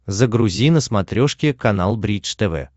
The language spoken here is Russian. загрузи на смотрешке канал бридж тв